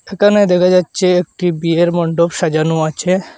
এখানে দেখা যাচ্ছে একটি বিয়ের মণ্ডপ সাজানো আছে।